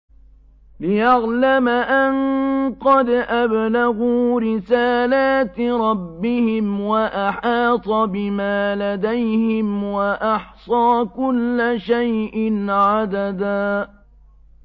لِّيَعْلَمَ أَن قَدْ أَبْلَغُوا رِسَالَاتِ رَبِّهِمْ وَأَحَاطَ بِمَا لَدَيْهِمْ وَأَحْصَىٰ كُلَّ شَيْءٍ عَدَدًا